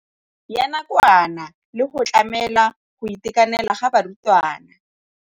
Ya nakwana le go tlamela go itekanela ga barutwana.